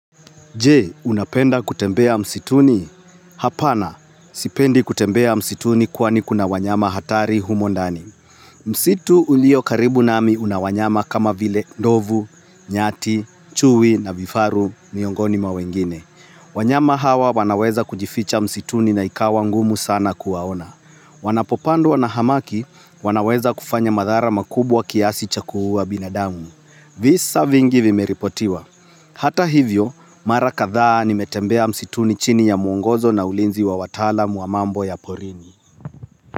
Je, unapenda kutembea msituni? Hapana, sipendi kutembea msituni kwani kuna wanyama hatari humo ndani. Msitu uliyo karibu nami unawanyama kama vile ndovu, nyati, chui na vifaru miongoni mwa wengine. Wanyama hawa wanaweza kujificha msituni na ikawa ngumu sana kuwaona. Wanapopandwa na hamaki, wanaweza kufanya madhara makubwa kiasi cha kuuwa binadamu. Visa vingi vimeripotiwa. Hata hivyo mara kadhaa nimetembea msituni chini ya mwongozo na ulinzi wa watalam wa mambo ya porini.